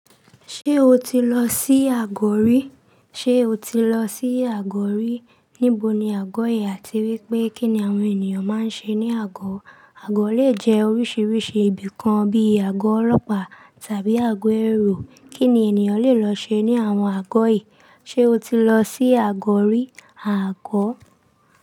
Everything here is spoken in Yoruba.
Ṣé o ti lọ sí àgọ̀ rí? Ṣé o ti lọ sí àgọ̀ rí? Níbo ni àgọ̀ yìí àti wípé kín ni àwọn ènìyàn máa ń ṣe ní àgọ̀? Àgọ̀ lè jẹ́ oríṣiríṣi ibìkan bí i àgọ́ ọlọ́pàá tàbí àgọ́ ẹrú. Kí ni ènìyàn lè lọ ṣe ní àwọn àgọ́ yìí? Ṣé o ti lọ sí àgọ̀ rí? Àgọ̀